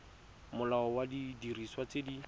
molao wa didiriswa tse di